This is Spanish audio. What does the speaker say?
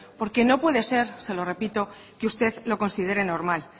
porque no puede ser se lo repito que usted lo considere normal